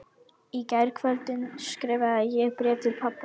Á tveimur stöðum streymdi gufa úr sverum málmpípum.